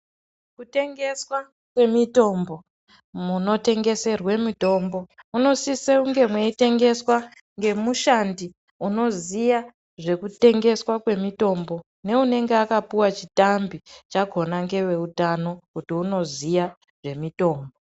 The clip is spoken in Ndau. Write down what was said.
Kutengeswa kwemitombo, munotengeserwe mitombo, munosiswe kunge muyitengeswa ngemushandi unoziya zvekutengeswa kwemitombo ne unenge akapuwa chitambi chakhona ngevehutano kuti unoziya zvemitombo.